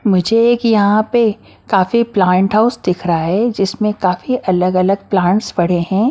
मुझे एक यहां पे काफी प्लांट हाउस दिख रहा है जिसमें काफी अलग-अलग प्लांट्स पड़े हैं।